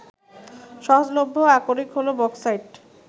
সহজলভ্য আকরিক হলো বক্সাইট